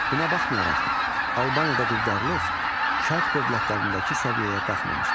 Buna baxmayaraq, Albaniyada quldarlıq şərq dövlətlərindəki səviyyəyə qalxmamışdı.